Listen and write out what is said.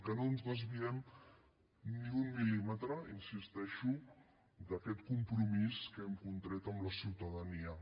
que no ens desviem ni un mil·límetre hi insisteixo d’aquest compromís que hem contret amb la ciutadania